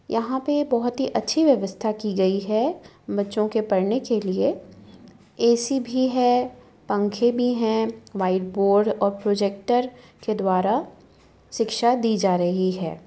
यहाँ पे बहोत ही अच्छी व्यवस्था की गयी है बच्चों के पढ़ने के लिए ऐसी भी है पंखे भी है व्हाइट बोर्ड और प्रोजेक्टर के द्वारा शिक्षा दी जा रही है ।